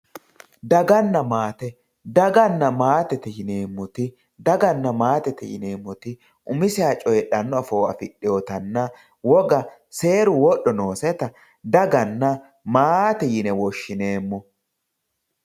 daganna maate daganna maatete yineemmoti daganna maate daganna maatete yineemmoti umiseha coyiidhanno afoo afidhinotanna woga seeru wodho nooseta daganna maate yine woshshineemmo.